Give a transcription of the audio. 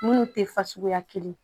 Minnu tɛ fasuguya kelen ye